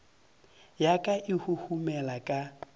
ya ka e huhumela ka